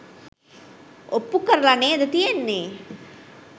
ඔප්පු කරල නේද තියෙන්නේ